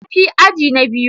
Tafi aji na biyu.